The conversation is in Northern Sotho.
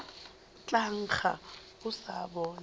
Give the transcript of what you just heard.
tla nkga go sa bola